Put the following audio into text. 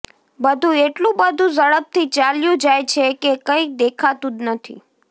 બધું એટલું બધું ઝડપથી ચાલ્યું જાય છે કે કંઈ દેખાતું જ નથી